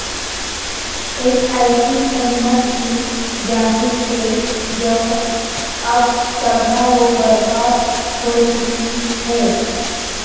ایک ایسی امت کی جانب سے جو اب تباہ و برباد ہوچکی ہے